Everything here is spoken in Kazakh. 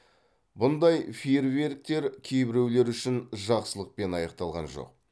бұндай фейерверктер кейбіреулер үшін жақсылықпен аяқталған жоқ